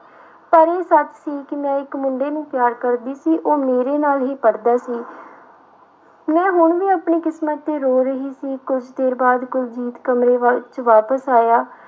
ਪਰ ਇਹ ਸੱਚ ਸੀ ਕਿ ਮੈਂ ਇੱਕ ਮੁੰਡੇ ਨੂੰ ਪਿਆਰ ਕਰਦੀ ਸੀ ਉਹ ਮੇਰੇ ਨਾਲ ਹੀ ਪੜ੍ਹਦਾ ਸੀ ਮੈਂ ਹੁਣ ਵੀ ਆਪਣੀ ਕਿਸਮਤ ਤੇ ਰੋ ਰਹੀ ਸੀ ਕੁਛ ਦੇਰ ਬਾਅਦ ਕੁਲਜੀਤ ਕਮਰੇ ਵੱਲ ਵਿੱਚ ਵਾਪਸ ਆਇਆ,